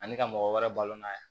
Ani ka mɔgɔ wɛrɛ balo n'a ye